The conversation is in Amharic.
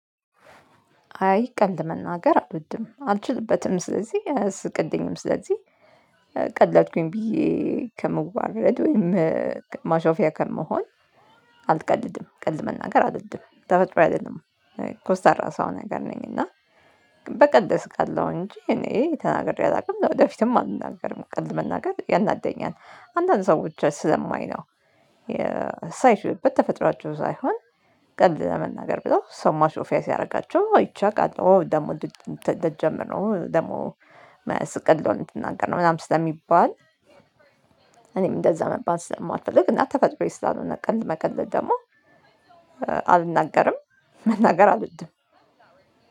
አይ ቀልድ መናገር አልወድም አልችልበትም ስለዚህ እስቅልኝም ስለዚህ። ቀለድኩኝ ብዬ ከምዋረድ ወይም ማሾፊያ ከመሆን አልቀልድም ቀልድ መናገር አልወድም ተፈጥሮየ አይደለም። ኮስታራ ሰው ነገር ነኝ እና በቀልድ እስቃለው እንጂ እኔ ተናግሬ አላውቅም ወደፊትም አልናገርም ቀልድ መናገር ያናደኛል። አንዳንድ ሰዎችን ስለማይ ነው ሳይሽበት ተፈጥሯቸው ሳይሆን ቀልድ ለመናገር ብለው ሰው ማሾፊያ ሲያርጋቸው አይቼ አቃለሁ ኦ ደግሞ ደ ልጀምር ኦ ደግሞ የማያስቅ ቀልድ አሁን ልትናገር ነው ምናምን ስለሚባል። እኔም እንደዛ መባል ስለማልፈልግ እና ተፈጥሮዬ ስላልሆነ ቀልድ መቀለድ ደግሞ እ አልናገርም። መናገር አልወድም።